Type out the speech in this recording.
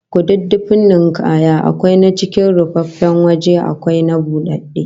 Kududdufin ninkaya akwai na cikin rufaffen waje akwai na budadde